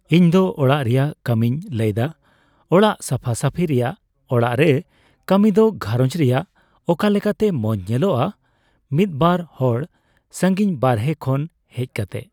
ᱤᱧᱫᱚ ᱚᱲᱟᱜ ᱨᱮᱭᱟᱜ ᱠᱟᱹᱢᱤᱧ ᱞᱟᱹᱭᱫᱟ ᱚᱲᱟᱜ ᱥᱟᱯᱷᱟ ᱥᱟᱹᱯᱷᱤ ᱨᱮᱭᱟᱜ ᱚᱲᱟᱜ ᱨᱮ ᱠᱟᱹᱢᱤ ᱫᱚ ᱜᱷᱟᱨᱚᱧᱡᱽ ᱨᱮᱭᱟᱜ ᱚᱠᱟ ᱞᱮᱠᱟᱛᱮ ᱢᱚᱸᱡᱽ ᱧᱮᱞᱚᱜᱼᱟ ᱢᱤᱫᱵᱟᱨ ᱦᱚᱲ ᱥᱟᱹᱜᱤᱧ ᱵᱟᱨᱦᱮ ᱠᱷᱚᱱ ᱦᱮᱡ ᱠᱟᱛᱮᱜ